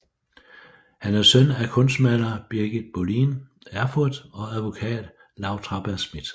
Han er søn af kunstmaler Birgit Boline Erfurt og advokat Laue Traberg Smidt